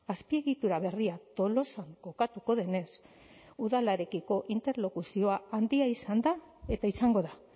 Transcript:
azpiegitura berria tolosan kokatuko denez udalarekiko interlokuzioa handia izan da eta izango da